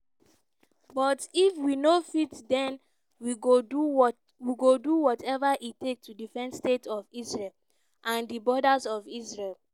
but if we no fit den we go do whatever e take to defend state of israel and di borders of israel."